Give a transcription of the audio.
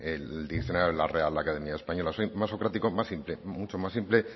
el diccionario de la real academia española soy más socrático más simple mucho más simple